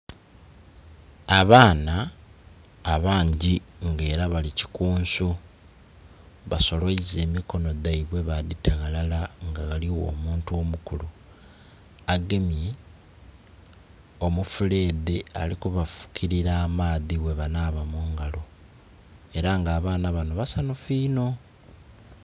Abaana abangi nga era bali kikunsu, basoloiza emikono dhaibwe badhita ghalala nga ghaligho omuntu omukulu agemye omufuleedhe ali kubafukilira amaadhi bwebanaaba mungalo, era nga abaana banho basanhufu inho.